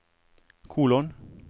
kolon